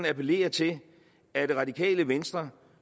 appellere til at det radikale venstre